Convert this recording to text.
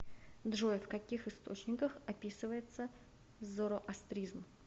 джой в каких источниках описывается зороастризм